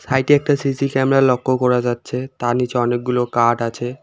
সাইটে একটা CC camera লক্ষ্য করা যাচ্ছে তার নীচে অনেকগুলো কাঠ আছে।